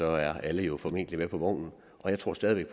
er alle jo formentlig med på vognen jeg tror stadig væk